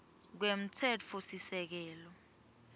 kwemtsetfosisekelo